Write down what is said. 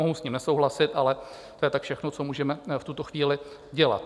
Mohu s ním nesouhlasit, ale to je tak všechno, co můžeme v tuto chvíli dělat.